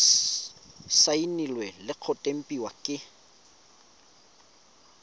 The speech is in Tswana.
saenilwe le go tempiwa ke